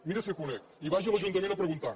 miri si el conec i vagi a l’ajuntament a preguntar